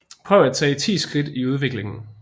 Prøv at tage 10 skridt i udviklingen